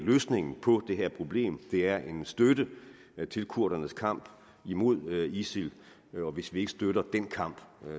løsningen på det her problem det er en støtte til kurdernes kamp imod isil og hvis vi ikke støtter den kamp